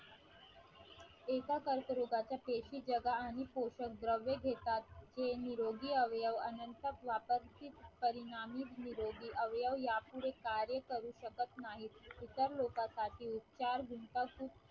एका कर्करोगाच्या पेशी जगा आणि पोषक द्रव्य घेतात जे निरोगी अवयव अनंत वापरचे परिणामिक निरोगी अवयव यापुढे कार्य करू शकत नाहीत इतर लोकांसाठी उपचार